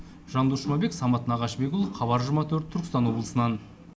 жандос жұмабек самат нағашыбекұлы хабар жиырма төрт түркістан облысынан